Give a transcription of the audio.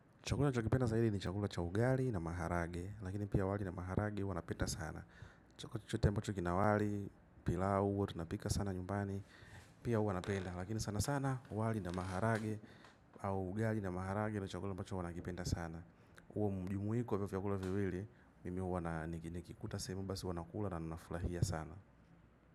Chakula ninacho kipenda zidi ni chakula cha uhali na maharagwe, lakini pia wali na maharagwe huwa napenda sana. Chote ambacho kina wali. Pilau tunapika sana nyumbani. Pia huwa napenda lakini sana sana wali na maharagwe au ugali na maharagwe ndio chukula ambacho huwa nakipenda sana huo mjumuiko wa hivyo vyakula viwili. Mimi wana nikikuta sehemu basi huwa nakula na ninafurahia sana.